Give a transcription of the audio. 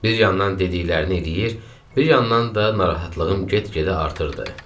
Bir yandan dediklərini eləyir, bir yandan da narahatlığım get-gedə artırdı.